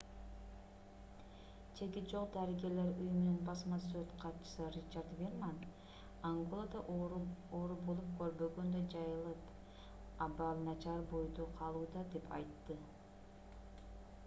чеги жок дарыгерлер уюмунун басма сөз катчысы ричард вирман анголада оору болуп көрбөгөндөй жайылып абал начар бойдон калууда - деп айтты